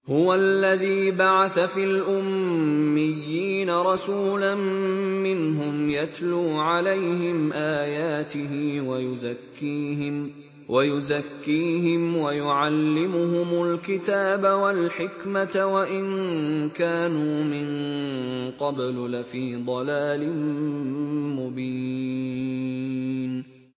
هُوَ الَّذِي بَعَثَ فِي الْأُمِّيِّينَ رَسُولًا مِّنْهُمْ يَتْلُو عَلَيْهِمْ آيَاتِهِ وَيُزَكِّيهِمْ وَيُعَلِّمُهُمُ الْكِتَابَ وَالْحِكْمَةَ وَإِن كَانُوا مِن قَبْلُ لَفِي ضَلَالٍ مُّبِينٍ